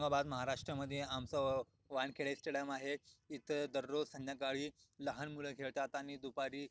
औरंगाबाद महाराष्ट्रा मध्ये आमचं वानखडे स्टेडियम आहे इथं दररोज संध्याकाळी लहान मुलं खेळतात आणि दुपारी--